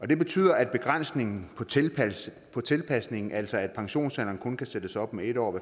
det betyder at begrænsningen på tilpasningen altså at pensionsalderen kun kan sættes op med en år